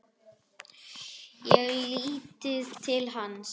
Ég þekkti lítið til hans.